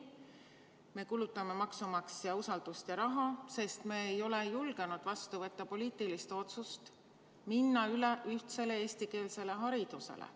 Me kulutame maksumaksja usaldust ja raha, sest me ei ole julgenud vastu võtta poliitilist otsust minna üle ühtsele eestikeelsele haridusele.